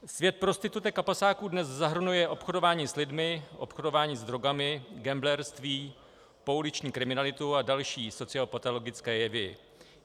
Svět prostitutek a pasáků dnes zahrnuje obchodování s lidmi, obchodování s drogami, gamblerství, pouliční kriminalitu a další sociopatologické jevy.